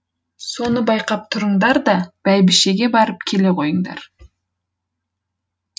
соны байқап тұрыңдар да бәйбішеге барып келе қойыңдар